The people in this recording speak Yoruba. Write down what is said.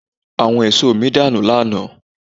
Àwọn èso mi dànù lánàá.